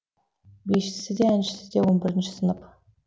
бишісі де әншісі де он бірінші сынып